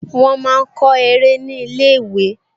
Wọ́n máa kọ eré ní ilé-ìwé